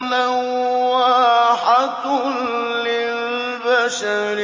لَوَّاحَةٌ لِّلْبَشَرِ